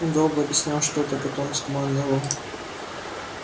он долго объяснял что-то потом скомандовал